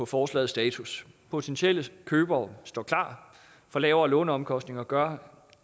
forslaget status potentielle købere står klar for lavere låneomkostninger gør